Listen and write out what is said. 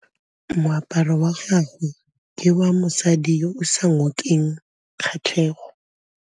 Moaparô wa gagwe ke wa mosadi yo o sa ngôkeng kgatlhegô.